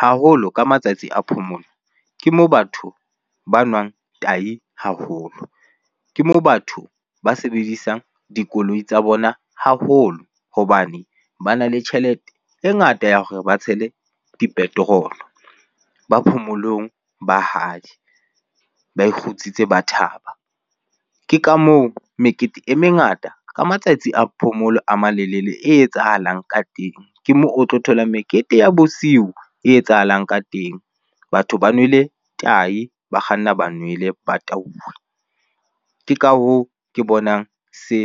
Haholo ka matsatsi a phomolo, ke moo batho ba nwang tahi haholo, ke mo batho ba sebedisang dikoloi tsa bona haholo. Hobane ba na le tjhelete e ngata ya hore ba tshele di-petrol-o. Ba phomolong ba hae, ba ikgutsitse ba thaba. Ke ka moo mekete e mengata ka matsatsi a phomolo a malelele e etsahalang ka teng, ke moo o tlo thola mekete ya bosiu e etsahalang ka teng. Batho ba nwele tahi, ba kganna ba nwele ba tauwe. Ke ka hoo ke bonang se